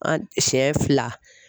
An siɲɛn fila.